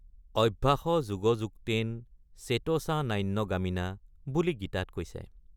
অভ্যাসযোগযুক্তেন চেতসা নান্য গামিনা বুলি গীতাত কৈছে ।